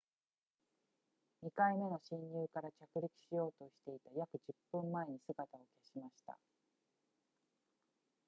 2回目の進入から着陸しようとしていた約10分前に姿を消しました